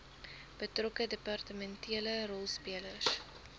betrokke departementele rolspelers